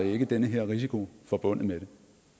ikke den her risiko forbundet med